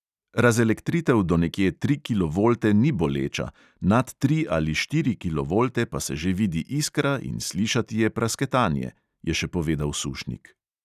"Razelektritev do nekje tri kilovolte ni boleča, nad tri ali štiri kilovolte pa se že vidi iskra in slišati je prasketanje," je še povedal sušnik.